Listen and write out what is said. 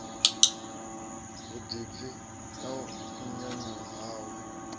vhuḓipfi na u nyanyuwa hawe